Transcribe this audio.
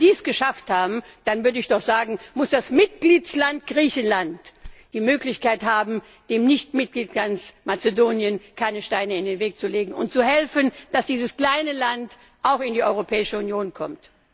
Also, wenn die es geschafft haben, dann würde ich doch sagen, muss der Mitgliedstaat Griechenland die Möglichkeit haben, dem Nichtmitgliedstaat Mazedonien keine Steine in den Weg zu legen und zu helfen, dass dieses kleine Land auch in die Europäische Union kommt.